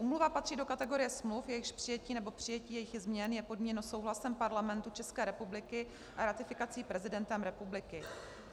Úmluva patří do kategorie smluv, jejichž přijetí nebo přijetí jejich změn je podmíněno souhlasem Parlamentu České republiky a ratifikací prezidentem republiky.